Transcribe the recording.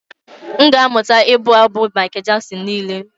M ga-amụta ịbụ abụ Michael Jackson niile